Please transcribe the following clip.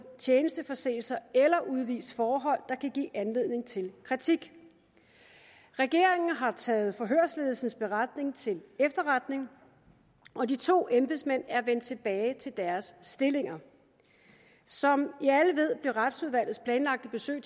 tjenesteforseelser eller udvist forhold der kan give anledning til kritik regeringen har taget forhørsledelsens beretning til efterretning og de to embedsmænd er vendt tilbage til deres stillinger som vi alle ved blev retsudvalgets planlagte besøg